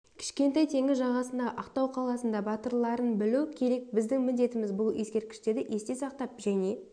кішкентай теңіз жағасындағы ақтау қаласында батырларын білу керек біздің міндетіміз бұл ескерткіштерді есте сақтап және